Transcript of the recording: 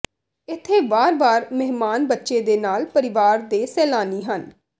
ਇੱਥੇ ਵਾਰ ਵਾਰ ਮਹਿਮਾਨ ਬੱਚੇ ਦੇ ਨਾਲ ਪਰਿਵਾਰ ਦੇ ਸੈਲਾਨੀ ਹਨ